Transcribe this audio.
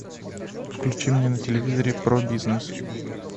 включи мне на телевизоре про бизнес